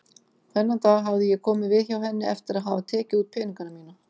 Þennan dag hafði ég komið við hjá henni eftir að hafa tekið út peningana mína.